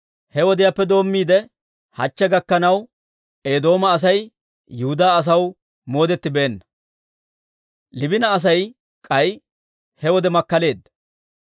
He wodiyaappe doommiide hachche gakkanaw, Eedooma Asay Yihudaa asaw moodettibeenna. Liibina Asay k'ay he wode makkaleedda.